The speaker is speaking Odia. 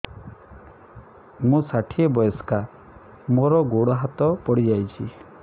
ମୁଁ ଷାଠିଏ ବୟସ୍କା ମୋର ଗୋଡ ହାତ ପଡିଯାଇଛି